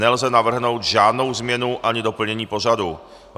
Nelze navrhnout žádnou změnu ani doplnění pořadu.